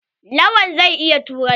Lawan zai iya turanci.